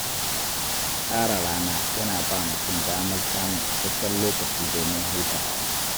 Tsara rana yana ba mutum damar samun isasshen lokaci domin hutawa.